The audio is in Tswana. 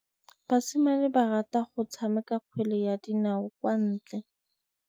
Basimane ba rata go tshameka kgwele ya dinaô kwa ntle.